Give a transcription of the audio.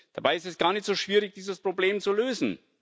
Dabei ist es gar nicht so schwierig, dieses Problem zu lösen.